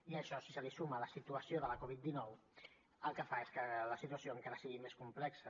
i això si se li suma la situació de la covid dinou el que fa és que la situació encara sigui més complexa